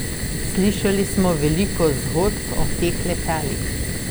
Slišali smo veliko zgodb o teh letalih.